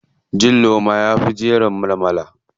Cin loma yafi jiran malmala.